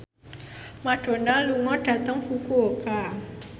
Madonna lunga dhateng Fukuoka